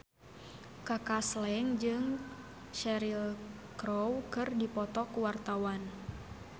Kaka Slank jeung Cheryl Crow keur dipoto ku wartawan